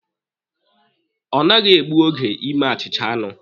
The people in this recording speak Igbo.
Ọ naghị egbu oge ime achịcha anụ.